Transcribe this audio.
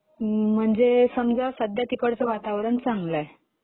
म्हणजे समजा सध्या तिकडचं वातावरण चांगलं आहे.